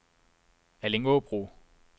Allingåbro